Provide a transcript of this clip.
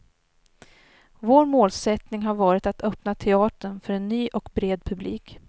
Vår målsättning har varit att öppna teatern för en ny och bred publik.